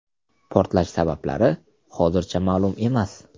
Portlash sabablari hozircha ma’lum emas.